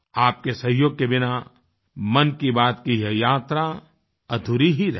आपके सहयोग के बिना मन की बात की यह यात्रा अधूरी ही रहती